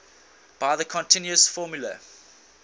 by the continuous formula